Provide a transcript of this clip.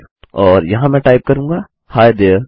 और यहाँ मैं टाइप करूँगा ही there